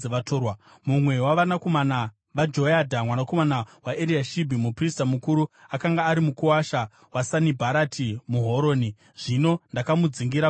Mumwe wavanakomana vaJoyadha mwanakomana waEriashibhi muprista mukuru akanga ari mukuwasha waSanibharati muHoroni. Zvino ndakamudzingira kure neni.